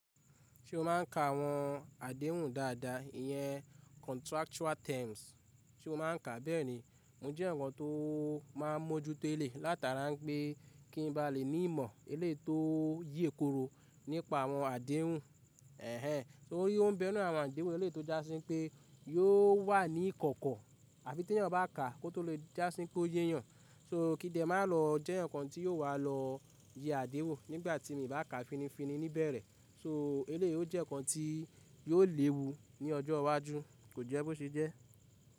Ṣé o máà ń ka àwọn àdéhùn dáadáa, ìyẹn contractual terms. Sé o máa ń ka bẹ́ẹ̀ ni, mo jẹ́ eeyan kan tó máa ń mójúto ele látara n pé kí ń ba lè ní ìmọ̀ eleyi tó ye koro nípa àwọn àdéhun Ẹ̀hẹ̀n, tori ó ń bẹnu àwọn àdéhùn eleyi tó já sí pé yóò wà ní ìkọ̀kọ̀ àfi tẹ̀yàn bá kà á kó tó lè já sí pé ó yéyàn. So kí n de máa lọ eeyan kan tí yóò wà lọ yẹ àdéhùn nígbà tí mi bá kà fininfini ni ibẹ̀rẹ̀. So eleyi o jẹ́ ǹkan tí yóò léwu ní ọjọ́ iwájú, kò jẹ́ bó ṣe jẹ́.